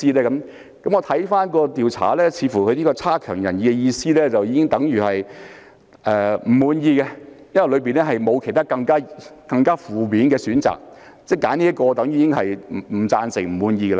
如果看回調查，似乎"差強人意"的意思已經等於"不滿意"，因為調查當中沒有其他更負面的選項，所以選擇"差強人意"便已經等於"不贊成"、"不滿意"。